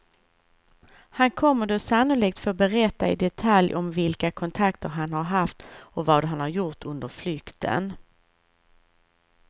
Han kommer då sannolikt få berätta i detalj om vilka kontakter han har haft och vad han har gjort under flykten.